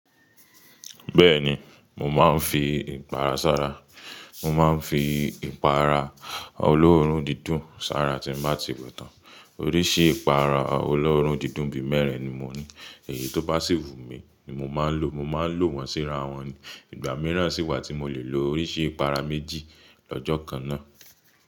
Bẹ́ẹ̀ni, mo máa ń fi ìpara sára. Mo máa ń fi ìpara ọlọ́run dídùn sára tí mo bá ti wẹ̀ tán. Oríṣi ìpara ọlọ́run dídùn bí mẹ́rin ni mo ní. Èyí tó basi wù mi ni mo máa ń lò. Mo máa ń lò wọ́n síra wọn. Ìgbà mìíràn sì wà tí mo lè lò oríṣi ìpara méjì lọ́jọ́ kan náà.